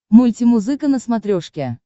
мультимузыка на смотрешке